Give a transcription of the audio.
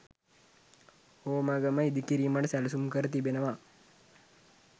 හෝමාගම ඉදිකිරීමට සැලසුම් කර තිබෙනවා.